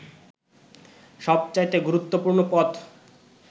সবচাইতে গুরুত্বপূর্ণ পথ